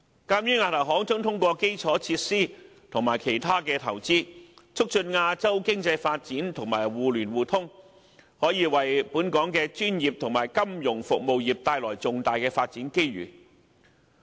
鑒於亞投行將通過基礎設施及其他投資，促進亞洲經濟發展及互聯互通，本港的專業及金融服務業可因此而獲得重大發展機遇。